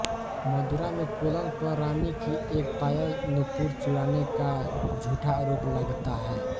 मदुरा में कोलन पर रानी की एक पायल नुपुर चुराने का झूठा आरोप लगता है